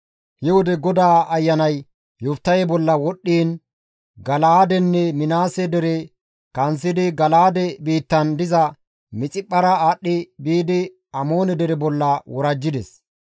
He wode GODAA Ayanay Yoftahe bolla wodhdhiin Gala7aadenne Minaase dere kanththidi Gala7aade biittan diza Mixiphphara aadhdhi biidi Amoone dere bolla worajjides.